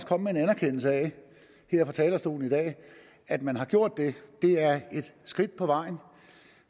komme med en anerkendelse af her fra talerstolen i dag at man har gjort det er et skridt på vejen